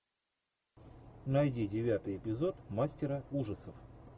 найди девятый эпизод мастера ужасов